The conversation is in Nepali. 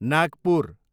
नागपुर